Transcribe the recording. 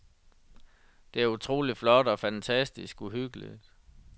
Det er utroligt flot og fantastisk uhyggeligt.